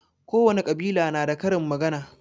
Kowane ƙabila na da karin magana